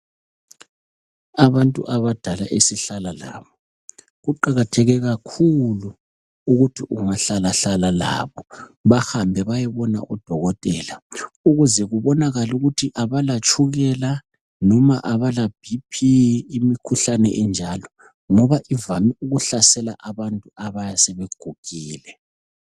Abantu abadala esihlala labo kuqakatheke kakhulu ukuthi ungahlaahlala labo bahambe bayebona idokotela ukuze kubonakale ukuthi abalatshukela noma abalaBp imikhuhlane enjalo ngoba ijayele ukuhlasela abantu abayabe sebegugile .